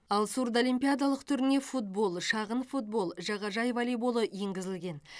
ал сурдолимпиадалық түріне футбол шағын футбол жағажай волейболы енгізілген